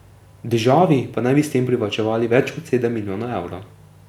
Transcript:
Državi pa naj bi s tem privarčevali več kot sedem milijonov evrov.